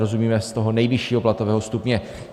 Rozumíme z toho nejvyššího platového stupně.